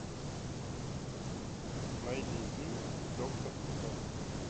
найди фильм доктор кто